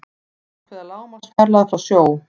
ákveða lágmarksfjarlægð frá sjó